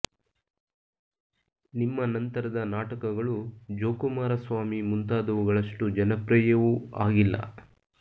ನಿಮ್ಮ ನಂತರದ ನಾಟಕಗಳು ಜೋಕುಮಾರ ಸ್ವಾಮಿ ಮುಂತಾದವುಗಳಷ್ಟು ಜನಪ್ರಿಯವೂ ಆಗಿಲ್ಲ